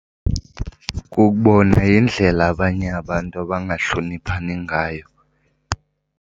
Kukubona yindlela abanye abantu abangahloniphani ngayo.